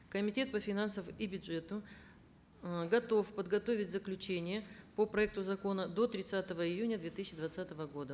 комитет по финансам и бюджету ыыы готов подготовить заключение по проекту закона до тридцатого июня две тысяча двадцатого года